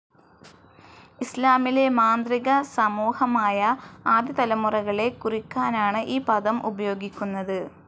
ഇസ്ലാമിലെ മാന്ത്രികസമൂഹമായ ആദ്യ തലമുറകളെ കുറിക്കാനാണ് ഈ പദം ഉപയോഗിക്കുന്നത്.